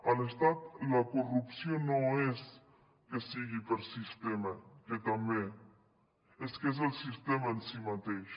a l’estat la corrupció no és que sigui per sistema que també és que és el sistema en si mateix